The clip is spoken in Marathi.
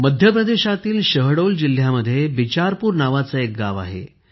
मध्यप्रदेशातील शहडोल जिल्ह्यामध्ये बिचारपूर नावाचे एक गाव आहे